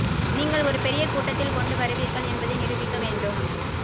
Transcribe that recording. நீங்கள் ஒரு பெரிய கூட்டத்தில் கொண்டு வருவீர்கள் என்பதை நிரூபிக்க வேண்டும்